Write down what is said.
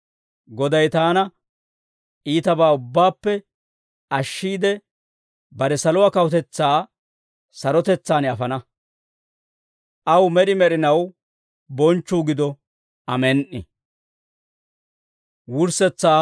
Goday taana iitabaa ubbaappe ashshiide, bare saluwaa kawutetsaa sarotetsaan afana; aw med'i med'inaw bonchchuu gido. Amen"i.